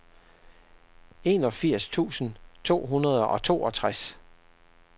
enogfirs tusind to hundrede og toogtres